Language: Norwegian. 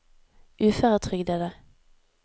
uføretrygdede